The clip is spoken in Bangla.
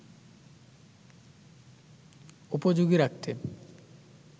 উপযোগী রাখতে